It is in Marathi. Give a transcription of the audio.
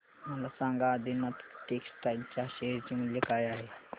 मला सांगा आदिनाथ टेक्स्टटाइल च्या शेअर चे मूल्य काय आहे